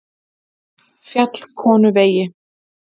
Fjallkonuvegi